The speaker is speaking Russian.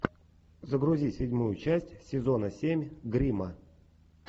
загрузи седьмую часть сезона семь гримма